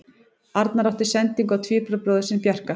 Arnar átti sendingu á tvíburabróðir sinn Bjarka.